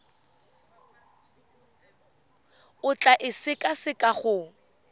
o tla e sekaseka go